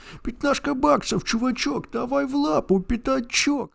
пятнашка баксов чувачок давай в лапу пятачок